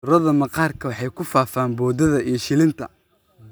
Cudurada maqaarka waxay ku faafaan boodada iyo shilinta.